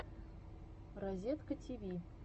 разеткативи